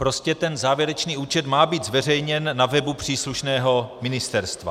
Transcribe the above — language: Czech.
Prostě ten závěrečný účet má být zveřejněn na webu příslušného ministerstva.